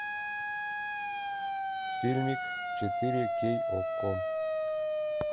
фильмик четыре кей окко